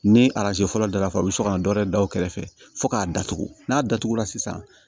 Ni arajo fɔlɔ daraka bɛ sɔn ka na dɔ wɛrɛ da o kɛrɛfɛ fo k'a datugu n'a datugura sisan